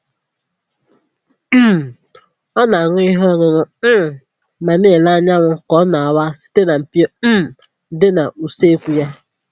um Ọ na-aṅụ ihe ọṅụṅụ um ma na-ele anyanwụ ka ọ na-awa site na mpio um dị n'usekwu ya